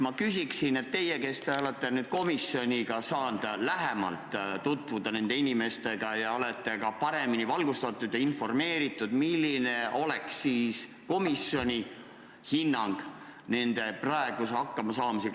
Ma küsin teilt, kes te olete komisjonis saanud nende inimestega lähemalt tutvuda ning olete ka paremini valgustatud ja informeeritud: milline võiks olla komisjon hinnang nende praegusele hakkamasaamisele?